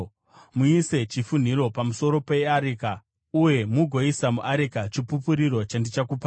Muise chifunhiro pamusoro peareka uye mugoisa muareka, Chipupuriro chandichakupai.